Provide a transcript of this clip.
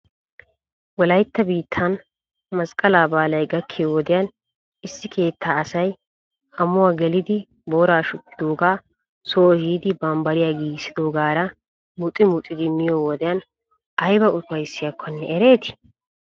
Wolaytta biittan masqqalaa baalay gakkiyo wodiyan issi keettaa asay amuwaa gelidi booraa shukkidoogaa soo ehidi bambbariyaa giigissidoogaara muxi muxidi miyo wodiyan ayba ufayssiyaakkonne ereetii?